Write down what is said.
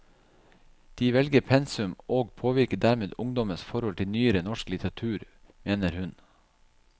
De velger pensum, og påvirker dermed ungdommens forhold til nyere norsk litteratur, mener hun.